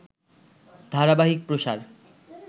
ধারাবাহিক প্রসার